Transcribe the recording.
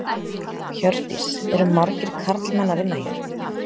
Hjördís: Eru margir karlmenn að vinna hér?